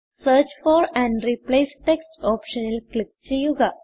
search for and replace text ഓപ്ഷനിൽ click ചെയ്യുക